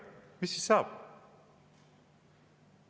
Mis siis saab?